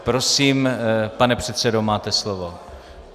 Prosím, pane předsedo, máte slovo.